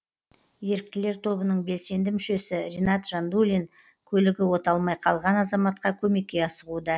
еріктілер тобының белсенді мүшесі ринат жандулин көлігі оталмай қалған азаматқа көмекке асығуда